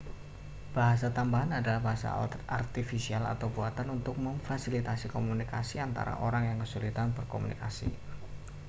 bahasa tambahan adalah bahasa artifisial atau buatan untuk memfasilitasi komunikasi antara orang yang kesulitan berkomunikasi